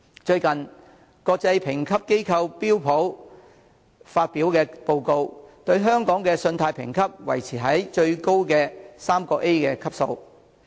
最近，國際評級機構標準普爾發表的報告，對香港的信貸評級維持在最高的 AAA 級。